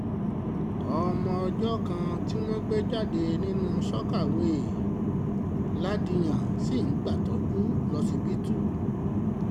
ọmọ ọjọ́ kan tí wọ́n gbé jáde nínú sọ̀kàwéè ladìyàn ṣì ń gbàtọ́jú lọsibítù